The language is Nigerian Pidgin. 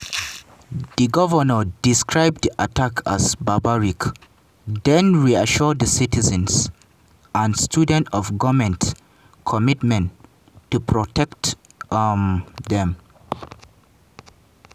di govnor describe di attack as “barbaric” den reassure di citizens and students of goment commitment to protect um dem.